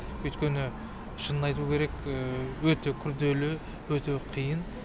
өйткені шынын айту керек өте күрделі өте қиын